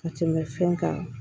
Ka tɛmɛ fɛn kan